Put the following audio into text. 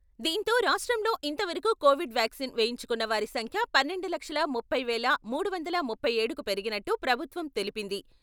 దీంతో రాష్ట్రంలో ఇంతవరకు కోవిడ్ వ్యాక్సిన్ వేయించుకున్న వారి సంఖ్య పన్నెండు లక్షల ముప్పై వేల మూడు వందల ముప్పై ఏడుకు పెరిగినట్టు ప్రభుత్వం తెలిపింది.